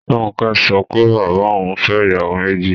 Ronke sọ pé bàbá òun fẹ́ ìyàwó méjì